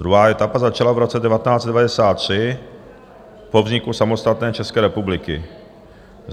Druhá etapa začala v roce 1993 po vzniku samostatné České republiky.